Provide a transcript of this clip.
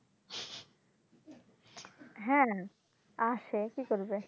হ্যাঁ আসে কী করবে?